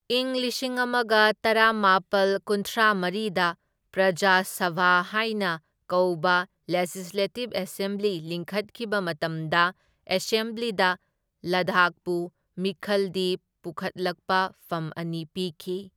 ꯢꯪ ꯂꯤꯁꯤꯡ ꯑꯃꯒ ꯇꯔꯥꯃꯥꯄꯜ ꯀꯨꯟꯊ꯭ꯔꯥꯃꯔꯤꯗ ꯄ꯭ꯔꯖꯥ ꯁꯚꯥ ꯍꯥꯏꯅ ꯀꯧꯕ ꯂꯦꯖꯤꯁꯂꯦꯇꯤꯚ ꯑꯦꯁꯦꯝꯕ꯭ꯂꯤ ꯂꯤꯡꯈꯠꯈꯤꯕ ꯃꯇꯝꯗ, ꯑꯦꯁꯦꯝꯕ꯭ꯂꯤꯗ ꯂꯗꯥꯈꯄꯨ ꯃꯤꯈꯜꯗꯤ ꯄꯨꯈꯠꯂꯛꯄ ꯐꯝ ꯑꯅꯤ ꯄꯤꯈꯤ꯫